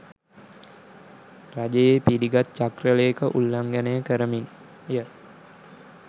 රජයේ පිළිගත් චක්‍රලේඛ උල්ලංගනය කරමින් ය